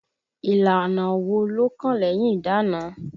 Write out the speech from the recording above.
Ìlànà wo ló kàn lẹ́yìn ìdána?